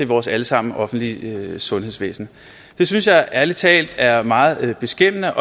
vores alle sammens offentlige sundhedsvæsen jeg synes ærlig talt at det er meget beskæmmende